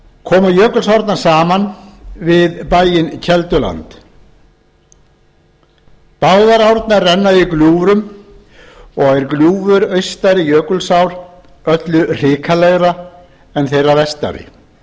koma jökulsárnar saman við bæinn kelduland báðar árnar renna í gljúfrum og er gljúfur austari jökulsár öllu hrikalegra en þeirrar vestari